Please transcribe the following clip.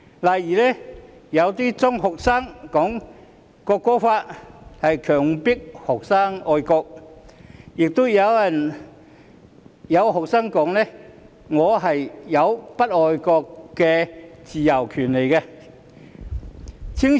例如，有些中學生說《條例草案》強迫人愛國，亦有中學生說他們有不愛國的自由和權利。